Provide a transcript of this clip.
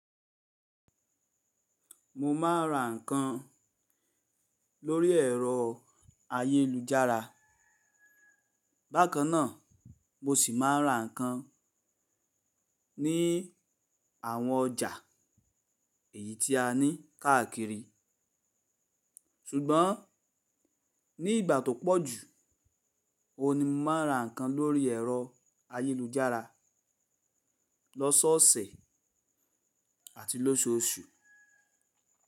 Mo máa ń ra nǹkan lórí ẹ̀rọ ayélujára, bákan náà mo sì máa ń ra nǹkan ní àwọn ọjà èyí tí a ní káàkiri. Sùgbọ́n ní ìgbà tó pọ̀ jù, òun ni mo máa ń ra nǹkan lórí ẹ̀rọ ayélujára lọ́sọ́ ọ̀sẹ̀ àti lóṣooṣù.